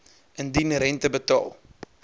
indien rente betaal